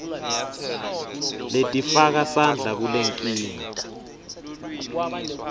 letifaka sandla kulenkinga